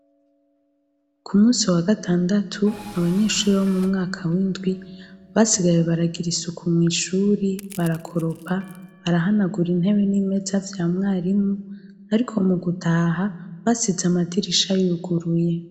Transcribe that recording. Ku musi wa gatandatu abanyeshure bo mu mwaka w’indwi basigaye baragira isuku mu nshure barakoropa, barahanagura intebe n’imeza vy’amwarimu ariko mu gutaha basize amadirisha yuguruye.